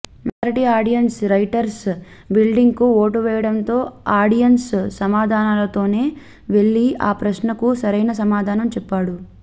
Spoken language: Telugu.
మెజార్టీ ఆడియెన్స్ రైటర్స్ బిల్డింగ్కు ఓటు వేయడంతో ఆడియెన్స్ సమాధానంతోనే వెళ్లి ఆ ప్రశ్నకు సరైన సమాధానం చెప్పాడు